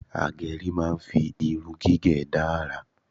Agẹrí máa ń fi irun gígẹ̀ dá àrà